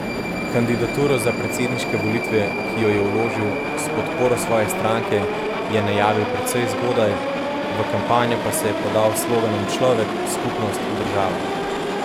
Kandidaturo za predsedniške volitve, ki jo je vložil s podporo svoje stranke, je najavil precej zgodaj, v kampanjo pa se podal s sloganom Človek, skupnost, država.